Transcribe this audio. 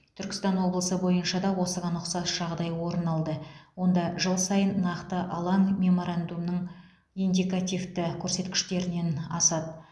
түркістан облысы бойынша да осыған ұқсас жағдай орын алды онда жыл сайын нақты алаң меморандумның индикативті көрсеткіштерінен асады